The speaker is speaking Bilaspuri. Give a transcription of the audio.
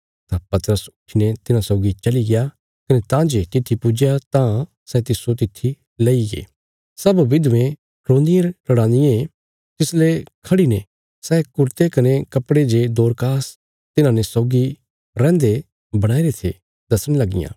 तां पतरस उट्ठीने तिन्हां सौगी चली गया कने तां जे तित्थी पुज्जया तां सै तिस्सो तित्थी लईगे सब विधवें रोन्दियांरोन्दियां तिसले खढ़ी ने सै कुरते कने कपड़े जे दोरकास तिन्हांने सौगी रैंहदे बणाईरे थे दसणे लगियां